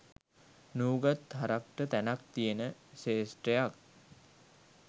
නූගත් හරක්ට තැනක් තියෙන ක්ෂේත්‍රයක්.